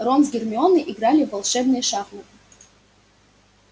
рон с гермионой играли в волшебные шахматы